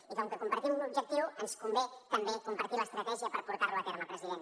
i com que compartim l’objectiu ens convé també compartir l’estratègia per portar lo a terme president